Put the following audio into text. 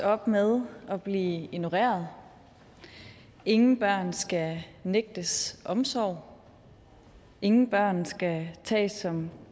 op med at blive ignoreret ingen børn skal nægtes omsorg ingen børn skal tages som